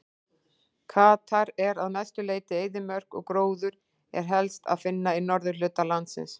Katar er að mestu leyti eyðimörk og gróður er helst að finna í norðurhluta landsins.